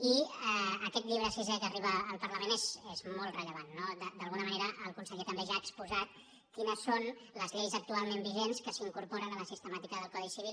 i aquest llibre sisè que arriba al parlament és molt rellevant no d’alguna manera el conseller també ja ha exposat quines són les lleis actualment vigents que s’incorporen a la sistemàtica del codi civil